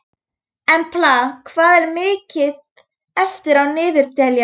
Embla, hvað er mikið eftir af niðurteljaranum?